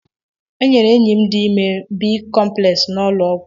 E nyere enyi m dị ime B-Komplex n'ụlọ ọgwụ